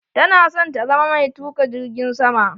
Tana son ta zama mai tuka jirgin sama.